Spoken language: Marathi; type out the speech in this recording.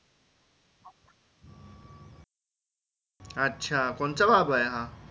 अच्छा कोणचा बाबा आहे हा?